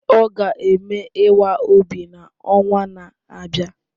Ọ ga-eme ịwa obi n'ọnwa na-abịa